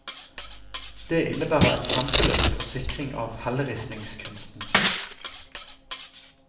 Det innebærer et kjempeløft for sikring av helleristningskunsten.